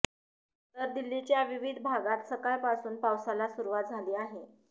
तर दिल्लीच्या विविध भागात सकाळ पासून पावसाला सुरुवात झाली आहे